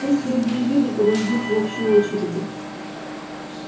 пусть другие виды подождут в общей очереди